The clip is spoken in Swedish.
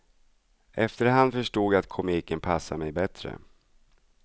Efterhand förstod jag att komiken passade mig bättre.